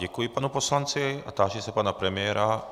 Děkuji panu poslanci a táži se pana premiéra...